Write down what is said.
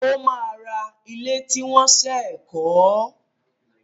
Ó máa ra ilé tí wọ́n ṣẹ̀ kọ́.